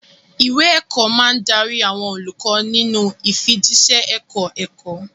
Ìwé ẹ̀kọ́ máa ń darí àwọn olùkọ́ nínú ìfijíṣẹ́ ẹ̀kọ́-ẹ̀kọ́.